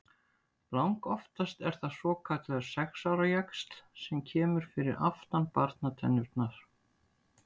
Langoftast er það svokallaður sex ára jaxl sem kemur fyrir aftan barnatennurnar.